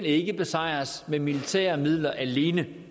ikke kan besejres med militære midler alene